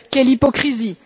Quelle hypocrisie!